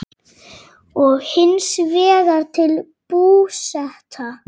og hins vegar til Búseta.